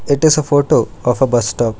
it is a photo of a bus stop.